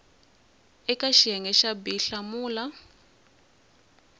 eka xiyenge xa b hlamula